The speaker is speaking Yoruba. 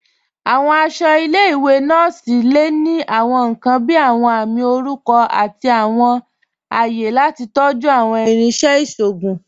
Awọn aṣọ ilẹ̀-iwe nọọsi le ni awọn nkan bíi awọn àmì orúkọ àti awọn àyẹ̀ lati tọ̀jú awọn irinṣẹ̀ iṣọgùn.